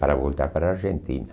Para voltar para a Argentina.